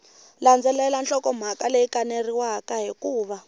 landzelela nhlokomhaka leyi kaneriwaka hikuva